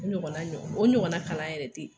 O ɲɔgɔnna ɲɔgɔn o ɲɔgɔnna kalan yɛrɛ tɛ yen.